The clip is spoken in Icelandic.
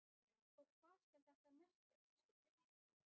Og hvað skal þetta merkja, biskup Jón?